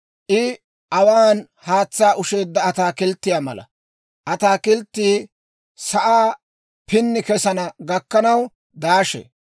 I awaan haatsaa ushsheedda ataakilttiyaa mala; ataakilttiyaa sa'aa pinni kesana gakkanaw daashee.